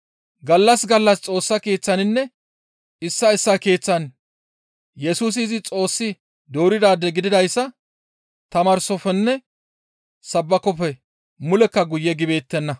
Gallas gallas Xoossa Keeththaninne issaa issaa keeththan Yesusi izi Xoossi dooridaade gididayssa tamaarsofenne sabbakoppe mulekka guye gibeettenna.